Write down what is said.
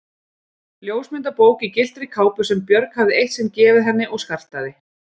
Ljósmyndabók í gylltri kápu sem Björg hafði eitt sinn gefið henni og skartaði